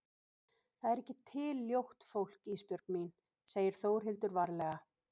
Það er ekki til ljótt fólk Ísbjörg mín, segir Þórhildur varlega.